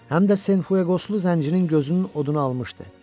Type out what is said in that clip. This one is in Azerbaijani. Həm də Sen Fueqoslu zəncirin gözünün oduna almışdı.